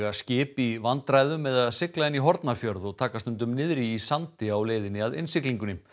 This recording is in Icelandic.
skip í vandræðum með að sigla inn í Hornafjörð og taka stundum niðri í sandi á leiðinni að innsiglingunni